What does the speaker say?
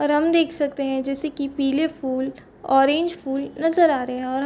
और हम देख सकते है जैसे की पिले फूल ऑरेंज फूल नज़र आ रहे है और--